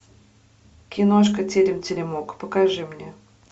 киношка терем теремок покажи мне